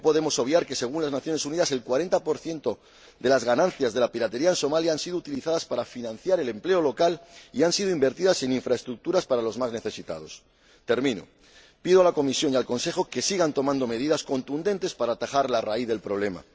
No podemos obviar que, según las Naciones Unidas, el 40 de las ganancias de la piratería en Somalia han sido utilizadas para financiar el empleo local y han sido invertidas en infraestructuras para los más necesitados. Para terminar, pido a la Comisión y al Consejo que sigan tomando medidas contundentes para atajar la raíz del problema.